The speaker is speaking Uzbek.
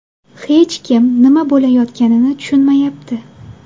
Hech kim nima bo‘layotganini tushunmayapti.